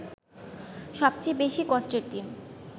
সবচেয়ে বেশি কষ্টের দিন